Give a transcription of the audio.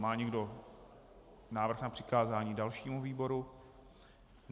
Má někdo návrh na přikázání dalšímu výboru?